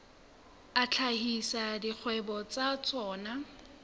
a hlahisa dikgwebo tsa tsona